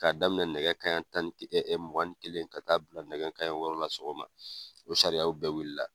K'a daminɛ nɛgɛ kaɲɛ tan ni kelen mugan ni kelen ka taa bila nɛgɛ kanɲɛ wɔɔrɔ la sɔgɔma o sariyaw bɛɛ wili la.